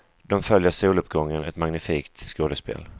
De följer soluppgången, ett magnifikt skådespel.